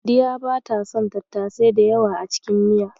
Sadiya bata son tattasai da yawa a cikin miya.